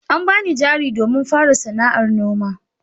An bani jari domin fara sana'ar noma.